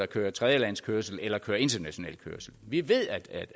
kører tredjelandskørsel eller international kørsel vi ved at